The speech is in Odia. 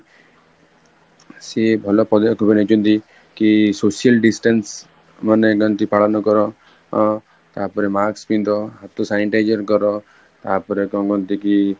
ସିଏ ଭଲ ନେଇଛନ୍ତି କି social distance ମାନେ କେମିତି ପାଳନ କର ଅ ତାପରେ mask ପିନ୍ଧ, ହାତ sanitize କର ତାପରେ କଣ କହନ୍ତି କି